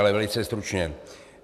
Ale velice stručně.